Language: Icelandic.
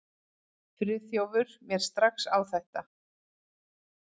Friðþjófur mér strax á þetta.